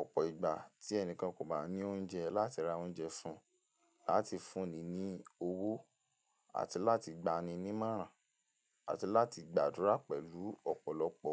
ọ̀pọ̀ ìgbà tí ẹnìkan kò bá ní oúnjẹ láti ra oúnjẹ fún un, láti fún ni ní owó, àti láti gba ni ní máràn, àti láti gbàdúrà pẹ̀lú ọ̀pọ̀lọpọ̀